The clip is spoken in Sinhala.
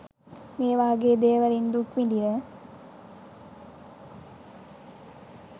මේවාගේ දේවලින් දුක් විදින